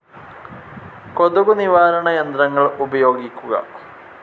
കൊതുകു നിവാരണ യന്ത്രങ്ങൾ ഉപയോഗിക്കുക.